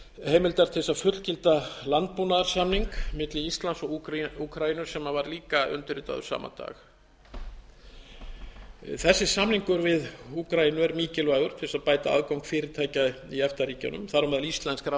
heimildar til þess að fullgilda landbúnaðarsamningi milli íslands og úkraínu sem var líka undirritaður sama dag þessi samningur við úkraínu er mikilvægur til þess að bæta aðgang fyrirtækja í efta ríkjunum þar á meðal íslenskra á